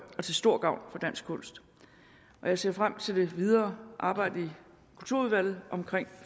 stor gavn for dansk kunst jeg ser frem til det videre arbejde i kulturudvalget om